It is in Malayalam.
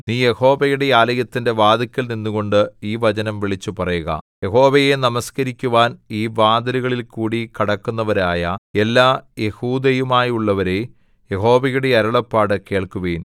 നീ യഹോവയുടെ ആലയത്തിന്റെ വാതില്ക്കൽ നിന്നുകൊണ്ട് ഈ വചനം വിളിച്ചുപറയുക യഹോവയെ നമസ്കരിക്കുവാൻ ഈ വാതിലുകളിൽകൂടി കടക്കുന്നവരായ എല്ലാ യെഹൂദയുമായുള്ളോരേ യഹോവയുടെ അരുളപ്പാട് കേൾക്കുവിൻ